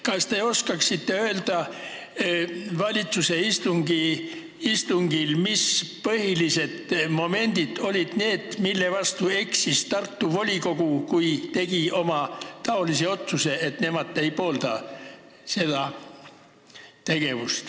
Kas te oskaksite öelda valitsuse istungil, mis olid põhilised momendid, mille vastu Tartu volikogu eksis, kui tegi otsuse seda projekti mitte pooldada?